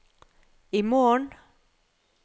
imorgen